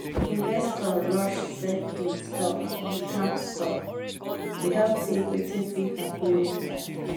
investor rush sell him stock without stock without think wetin fit happen later.